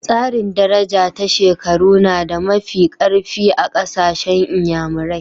Tsarin daraja ta shekaru na da mafi karfi a kasashen n'yamarai.